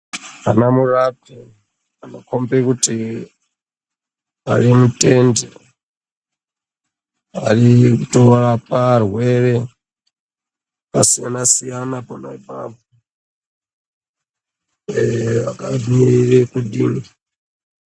Ana murapi anokombe kuti ari mutende arikutorapa arwere akasiyana-siyana pona apapo. Ee akamirire kudini...